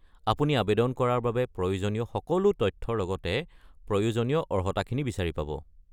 আপুনি আৱেদন কৰাৰ বাবে প্ৰয়োজনীয় সকলো তথ্যৰ লগতে প্ৰয়োজনীয় অৰ্হতাখিনি বিচাৰি পাব।